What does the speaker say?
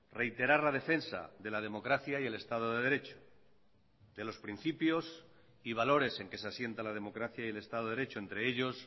reiterar la defensa de la democracia y el estado de derecho de los principios y valores en que se asienta la democracia y el estado de derecho entre ellos